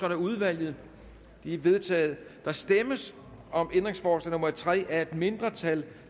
af udvalget de er vedtaget der stemmes om ændringsforslag nummer tre af et mindretal